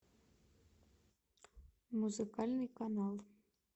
музыкальный канал